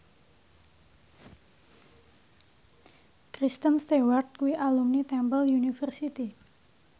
Kristen Stewart kuwi alumni Temple University